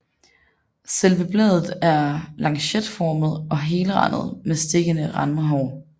Selve bladet er lancetformet og helrandet med stikkende randhår